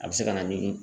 A bɛ se ka na ni